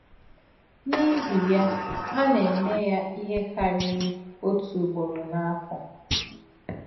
N’ìhì yà, hà nà-èmè yà ìhè kàrírì òtú ùgbòrò n’áfọ̀.